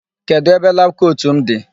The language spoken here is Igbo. Kedụ ebe labụ kotu m dị?